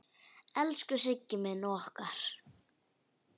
Elsku Siggi minn og okkar.